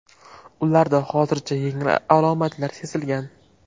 Ularda hozircha yengil alomatlar sezilgan.